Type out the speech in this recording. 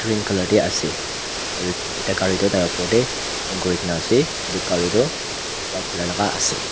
green color de ase aru ekta gari toh tai opor de hang kuri gina ase etu gari toh white color la ase.